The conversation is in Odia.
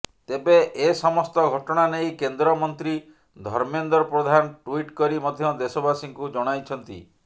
ତେବେ ଏ ସମସ୍ତ ଘଟଣା ନେଇ କେନ୍ଦ୍ରମନ୍ତ୍ରୀ ଧର୍ମେନ୍ଦ୍ର ପ୍ରଧାନ ଟ୍ୱିଟ୍ କରି ମଧ୍ୟ ଦେଶବାସୀଙ୍କୁ ଜଣାଇଛନ୍ତି